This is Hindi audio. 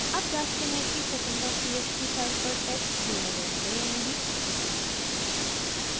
अब जाँचते हैं कि secondtxt फाइल पर टेक्स्ट जोड़ा गया है या नहीं